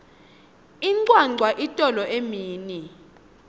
incwancwa itolo emini